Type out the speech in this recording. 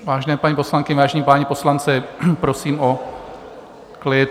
Vážené paní poslankyně, vážení páni poslanci, prosím o klid.